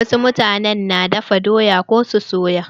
Wasu mutanen na dafa doya ko su soya.